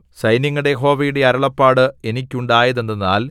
സൈന്യങ്ങളുടെ യഹോവയുടെ അരുളപ്പാട് എനിക്കുണ്ടായതെന്തെന്നാൽ